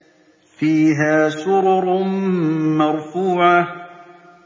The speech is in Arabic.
فِيهَا سُرُرٌ مَّرْفُوعَةٌ